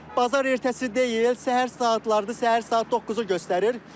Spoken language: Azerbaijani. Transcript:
Bazar ertəsi deyil, səhər saatlarıdır, səhər saat 9-u göstərir.